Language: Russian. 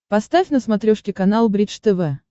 поставь на смотрешке канал бридж тв